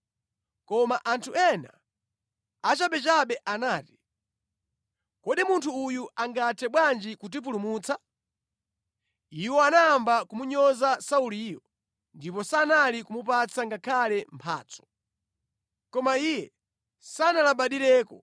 Koma anthu ena achabechabe anati, “Kodi munthu uyu angathe bwanji kutipulumutsa?” Iwo anayamba kumunyoza Sauliyo, ndipo sankamupatsa ngakhale mphatso. Koma iye sanalabadireko.